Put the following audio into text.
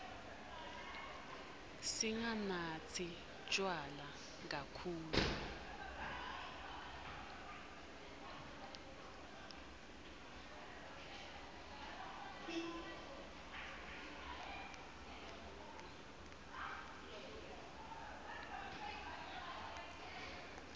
singanatsi tjwala kakhulu